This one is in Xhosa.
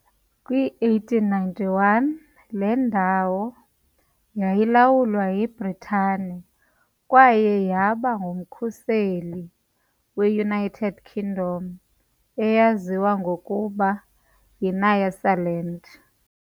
kwi-1891, le ndawo yayilawulwa yiBritane kwaye yaba ngumkhuseli we- United Kingdom eyaziwa ngokuba yiNyasaland.